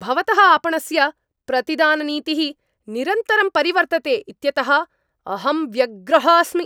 भवतः आपणस्य प्रतिदाननीतिः निरन्तरं परिवर्तते इत्यतः अहं व्यग्रः अस्मि।